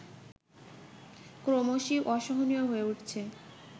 ক্রমশই অসহনীয় হয়ে উঠছে